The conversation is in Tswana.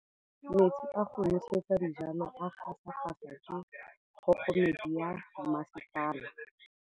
Metsi a go nosetsa dijalo a gasa gasa ke kgogomedi ya masepala.